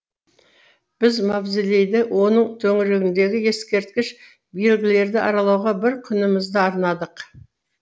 біз мавзолейді оның төңірегіндегі ескерткіш белгілерді аралауға бір күнімізді арнадық